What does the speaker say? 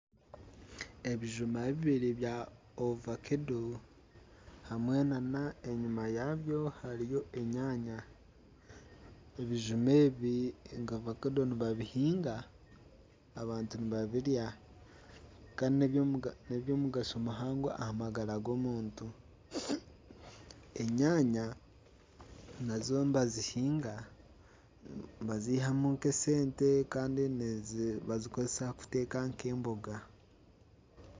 Ebijuma bibiri bya ovakado hamwe nana enyima yaabyo hariyo enyaanya. Ebijuma ebi nka vakado nibabihiinga, abantu nibabirya Kandi n'ebyomugasho muhango aha magara g'omuntu. Enyaanya nazo nibazihiinga, nibazihamu nka esente Kandi nibazikozesa kuteeka nka emboga.